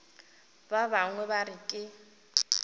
ba bangwe ba re ke